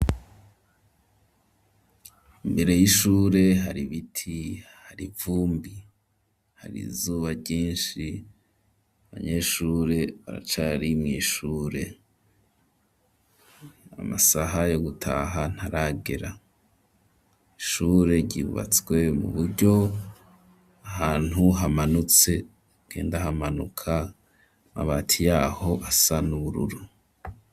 Imbere y'ishure hari biti hari ivumbi hari zuba ryinshi abanyeshure baracari mw'ishure amasaha yo gutaha ntaragera ishure ryubatswe mu buryo ahantu hamanutse kenda hamanuka amabati yaho asa n'ubururu.